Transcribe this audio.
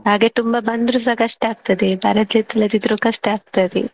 ಹಾಗೆ ತುಂಬಾ ಬಂದ್ರು ಸ ಕಷ್ಟ ಆಗ್ತದೆ ಬರದೆ ಇಲ್ಲದಿದ್ರು ಕಷ್ಟ ಆಗ್ತದೆ.